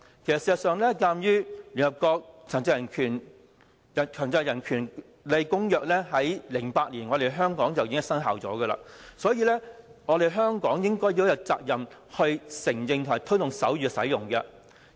事實上，鑒於聯合國《殘疾人權利公約》自2008年起已經在香港生效，所以，香港應該有責任承認和推動手語的使用。